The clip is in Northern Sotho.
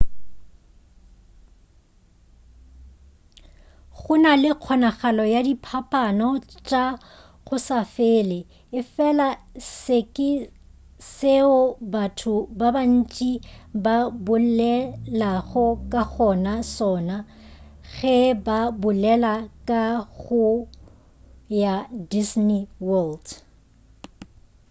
gona le kgonagalo ya diphapaphapano tša go se fele efela se ke seo batho ba bantši ba bolelago ka go sona ge ba bolela ka go ya disney world